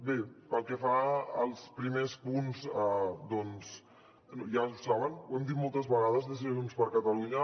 bé pel que fa als primers punts doncs ja ho saben ho hem dit moltes vegades des de junts per catalunya